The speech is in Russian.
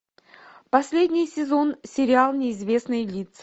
последний сезон сериал неизвестные лица